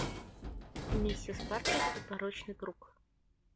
миссис паркер и порочный круг